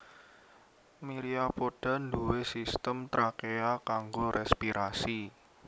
Myriapoda nduwé sistem trakea kanggo respirasi